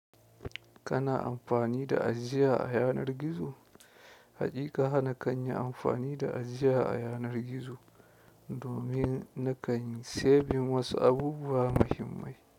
Kana amfani da ajiya a yanar gizo? Haƙiƙa hana kan yi amfani da ajiya a yanar gizo. Domin nakan saving wasu abubuwa muhimmai.